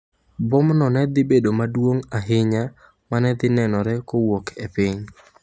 Bomno ne dhi bedo maduong’ ahinya ma ne dhi nenore kowuok e piny.